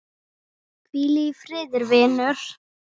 Hvíl í friði vinur.